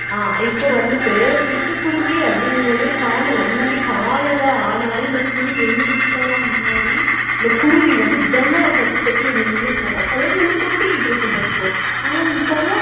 அஹ் இப்ப வந்துட்டு சிட்டுக்குருவி அப்படிங்கறததே காணல முன்னாடி காலையில ஆனாலே இந்த குருவி எங்க வீட்டுலலாம் முன்னாடி இந்த குருவி வந்து ஜன்னலைத் தட்டி தட்டி என்னை எழுப்பும் அதாவது வந்து கொத்திக்கிட்டு இருக்கும் பாத்துக்கோ ஆனா இப்பெல்லாம்